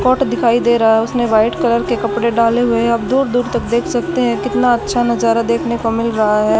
Coat दिखाई दे रहा हैं उसने व्हाईट कलर के कपड़े डाले हुए हैं अब दूर दूर तक देख सकते हैं कितना अच्छा नजारा देखने को मिल रहा हैं।